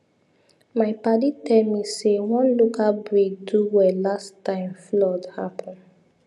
my padi tell me say one local breed do well last time flood happen